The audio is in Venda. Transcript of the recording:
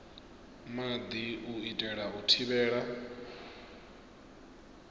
maḓi u itela u thivhela